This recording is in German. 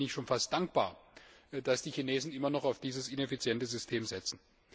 Und deswegen bin ich schon fast dankbar, dass die Chinesen immer noch auf dieses ineffiziente System setzen.